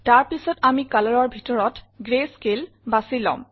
তাৰ পিছত আমি Colorৰ ভিতৰত গ্ৰেস্কেল বাছি লম